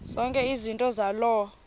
zonke izinto zaloo